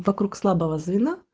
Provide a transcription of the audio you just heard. вокруг слабого звена